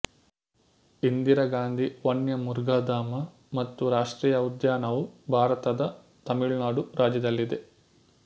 ಇಂದಿರಾ ಗಾಂಧಿ ವನ್ಯ ಮೃಗ ಧಾಮ ಮತ್ತು ರಾಷ್ಟ್ರೀಯ ಉದ್ಯಾನವು ಭಾರತದ ತಮಿಳುನಾಡು ರಾಜ್ಯದಲ್ಲಿದೆ